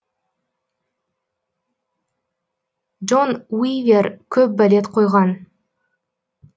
джон уивер көп балет қойған